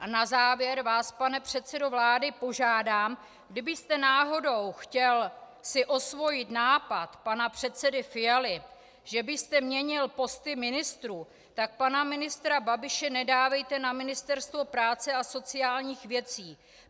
A na závěr vás, pane předsedo vlády, požádám, kdybyste náhodou chtěl si osvojit nápad pana předsedy Fialy, že byste měnil posty ministrů, tak pana ministra Babiše nedávejte na Ministerstvo práce a sociálních věcí.